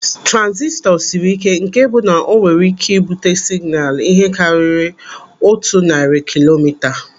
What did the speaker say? Transistọ siri ike nke bụ na o nwere ike ibute signaalu ihe karịrị otu narị kilomita.